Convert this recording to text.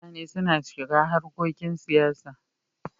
Mutane suna shiga harkokin siyasa.